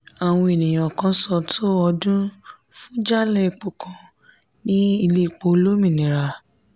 àwọn ènìyàn kàn ṣàn tó ọdún fún jálá epo kan ní ilé èpò olómìnira.